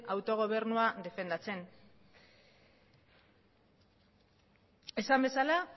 autogobernua defendatzen esan bezala